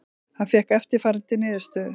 Hann fékk eftirfarandi niðurstöðu: